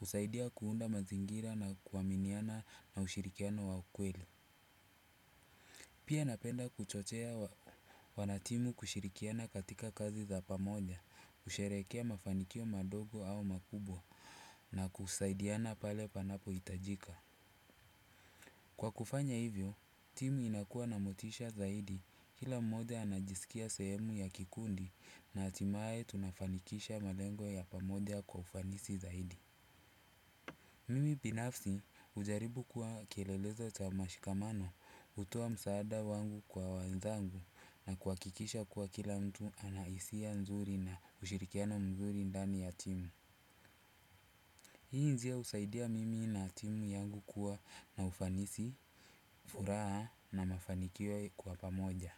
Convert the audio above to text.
husaidia kuunda mazingira na kuaminiana na ushirikiano wa ukweli. Pia napenda kuchochea wanatimu kushirikiana katika kazi za pamoja, kusherehekea mafanikio madogo au makubwa na kusaidiana pale panapohitajika. Kwa kufanya hivyo, timu inakuwa na motisha zaidi kila mmoja anajisikia sehemu ya kikundi na hatimaye tunafanikisha malengo ya pamoja kwa ufanisi zaidi. Mimi binafsi hujaribu kuwa kielelezo cha mashikamano hutoa msaada wangu kwa wenzangu na kuhakikisha kuwa kila mtu ana hisia nzuri na ushirikiano mzuri ndani ya timu. Hii njia husaidia mimi na timu yangu kuwa na ufanisi, furaha na mafanikio kwa pamoja.